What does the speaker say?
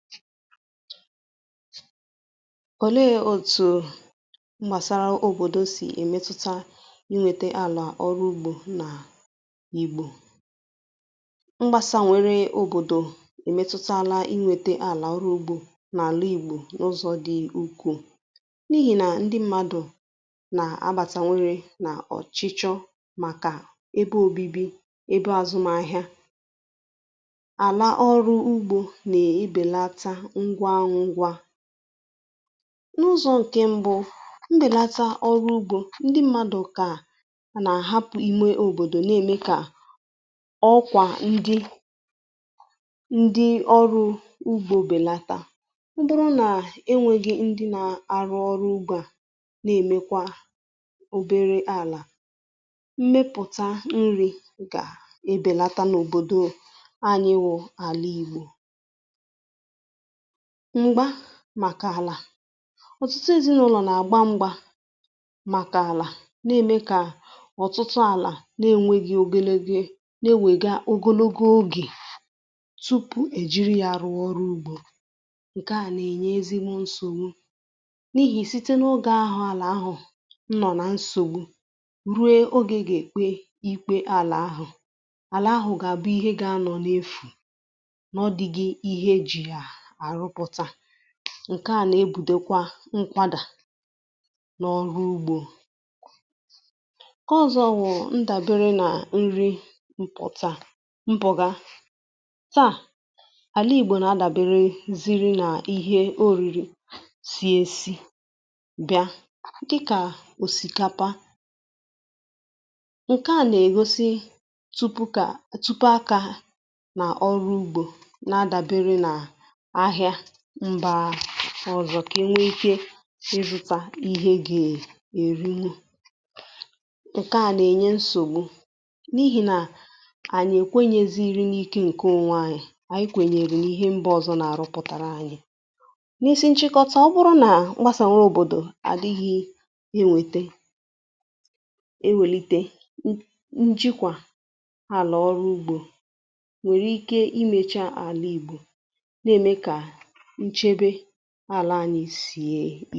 ọ̀lė òtù m̀gbàsara òbòdo sì èmetuta inwėtė àlà ọrụ ugbȯ nà n' igbò mgbasà nwere òbòdò èmetutala inwėtė àlà ọrụ ugbȯ nà àlà igbò n’ụzọ̇ dị ukwù n’ihì nà ndi mmadụ̀ nà-àbàtanwere nà ọ̀chịchọ màkà ebe òbibi ebe àzụmahị̇ȧ ngwa ngwa, n’ụzọ ǹkè mbụ̇ mbèlata ọrụ ugbȯ ndị mmadụ̀ kà nà-àhapụ̀ ime òbòdò nà-ème kà ọkwà ndị ndị ọrụ̇ ugbȯ bèlata, ọbụrụ nà enwėghi̇ ndị nà-àrụ ọrụ ugbȯ a nà-èmekwa òbèrè àlà mmepùta nrì gà-ebèlata n’òbòdò anyị bụ̇ àla igbò. m̀gba màkà àlà ọ̀tụtụ èzinụlọ̀ nà-àgba m̀gba màkà àlà na-ème kà ọ̀tụtụ àlà na-ènweghị̇ ogelego na-ewèga ogologo ogè tupu èjiri yȧ rụ̀ọ ọrụ ugbȯ, ǹke à nà-ènye ezigbo nsògbu n’ihì site n’ogė àlà ahụ̀ nọ̀ nà nsògbu ruo ogė ge-èkpe ikpė àlà ahụ̀, àlà ahụ̀ gà-àbụ ihe gȧ-ȧnọ̇ n’efù ma ọdịghị ihe eji̇ yà àrụpụtà ǹkè a nà-ebùdukwa nkwàdà n’ọrụ ugbȯ. ǹkè ọzọ̇ wụ̀ ndàbere nà nri mpụ̀ta mpụ̀ga taà àla ìgbò nà-adàbere ziri nà ihe orìrì si ėsi bịa dịkà òsìkapa ǹkè a nà-ègosi tupukȧ tupuàkà nà àhịà mba ọzọ kà enwe ike ịrụta n’ihe gȧ eriwu ǹke a nà-ènye nsògbu n’ihì nà ànyị èkwenyeziri n’ike ǹke onwe anyị, anyị kwènyèrè n’ihe mbȧ ọzọ nà-aruputara anyi. n’isi nchịkọta ọ bụrụ nà m̀gbàsànwe òbòdò àdịghị enwete enwèlite njikwa àlà ọrụ ugbȯ nwèrè ike imėcha àlà ìgbò na eme ka nchebe ala anyị si